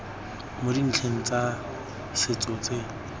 mo dintlheng tsa setso tse